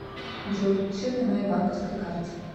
джой счет на моей банковской карте